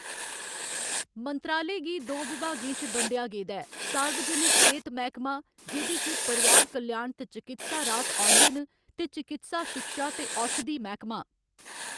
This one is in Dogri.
मंत्रालय गी दो विभागें च बंडेआ गेदा ऐ सार्वजनक सेह्‌त मैह्‌‌‌कमा, जेह्‌‌‌दे च परोआर कल्याण ते चकित्सा राह्‌त औंदे न, ते चकित्सा शिक्षा ते औशधि मैह्‌‌‌कमा।